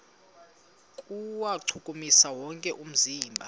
kuwuchukumisa wonke umzimba